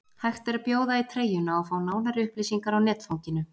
Hægt er að bjóða í treyjuna og fá nánari upplýsingar á netfanginu.